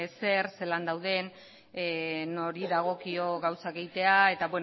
zer zelan dauden nori dagokio gauzak egitea eta